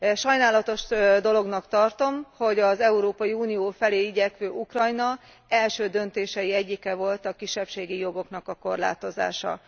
Sajnálatos dolognak tartom, hogy az Európai Unió felé igyekvő Ukrajna első döntései egyike volt a kisebbségi jogoknak a korlátozása.